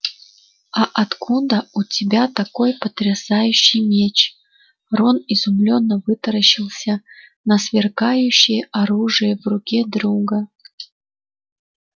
а откуда у тебя такой потрясающий меч рон изумлённо вытаращился на сверкающее оружие в руке друга